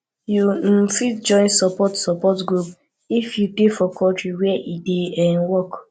you um fit join support support groups if you dey for country where e dey um work